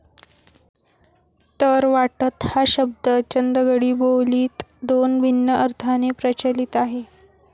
तर वाटत हा शब्द चंदगडी बो लीत दोन भिन्न अर्थाने प्रचलित आहे